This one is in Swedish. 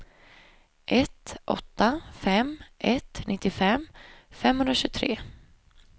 ett åtta fem ett nittiofem femhundratjugotre